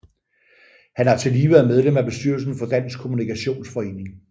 Han har tillige været medlem af bestyrelsen for Dansk Kommunikationsforening